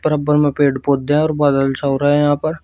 बराबर में पेड़ पौधे हैं और बादल छा रहे हैं यहां पर।